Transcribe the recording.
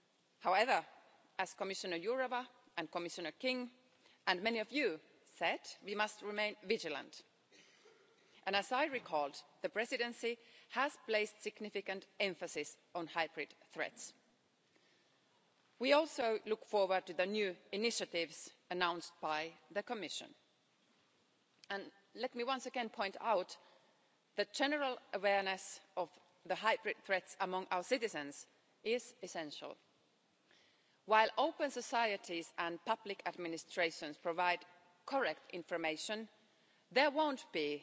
However, as Commissioner Jourová and Commissioner King and many of you here said, we must remain vigilant, and as I reiterated, the Presidency has placed significant emphasis on hybrid threats. We also look forward to the new initiatives announced by the Commission. And let me once again point out that general awareness of the hybrid threats among our citizens is essential. While open societies and public administrations provide correct information, there won't